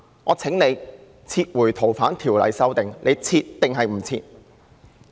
我請他撤回《逃犯條例》的修訂，他"撤"還是"不撤"？